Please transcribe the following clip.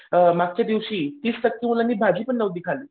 मागच्या दिवशी तीस टक्के मुलांनी भाजी पण नव्हती खाल्ली.